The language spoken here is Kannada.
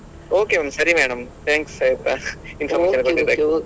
Okay ಸರಿ madam thanks ಆಯ್ತಾ information ಕೊಟ್ಟದ್ದಕ್ಕೆ.